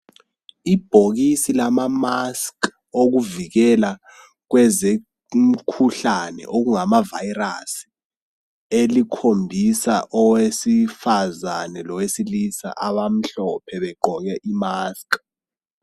Ibhokisi lama mask okuvikela kwezemkhuhlane okungama virus elikhombisa owesifazane lowesilisa abamhlophe begqoke imask.